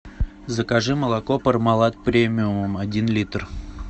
закажи молоко пармалат премиум один литр